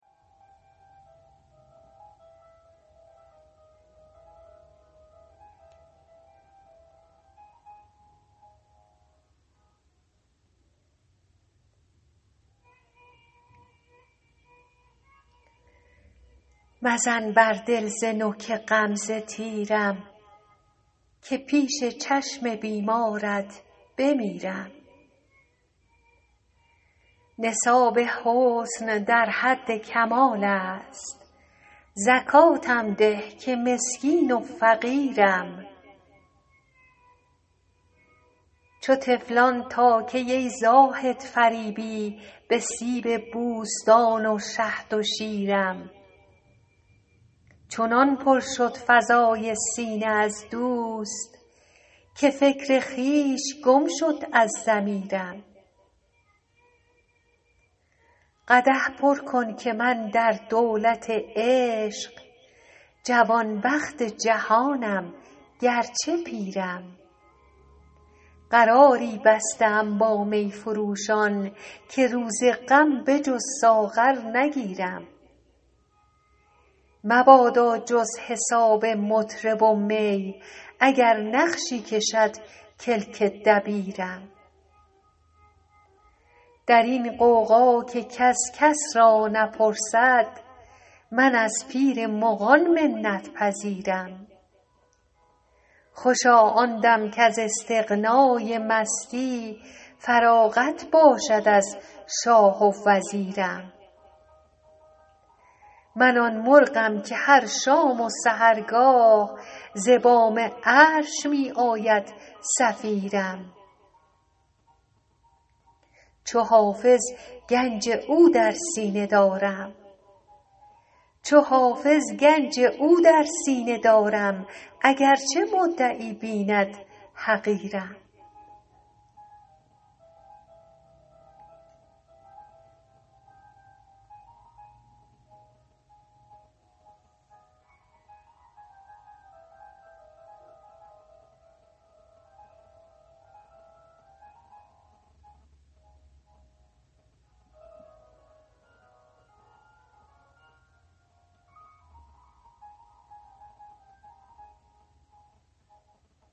مزن بر دل ز نوک غمزه تیرم که پیش چشم بیمارت بمیرم نصاب حسن در حد کمال است زکاتم ده که مسکین و فقیرم چو طفلان تا کی ای زاهد فریبی به سیب بوستان و شهد و شیرم چنان پر شد فضای سینه از دوست که فکر خویش گم شد از ضمیرم قدح پر کن که من در دولت عشق جوانبخت جهانم گرچه پیرم قراری بسته ام با می فروشان که روز غم به جز ساغر نگیرم مبادا جز حساب مطرب و می اگر نقشی کشد کلک دبیرم در این غوغا که کس کس را نپرسد من از پیر مغان منت پذیرم خوشا آن دم کز استغنای مستی فراغت باشد از شاه و وزیرم من آن مرغم که هر شام و سحرگاه ز بام عرش می آید صفیرم چو حافظ گنج او در سینه دارم اگرچه مدعی بیند حقیرم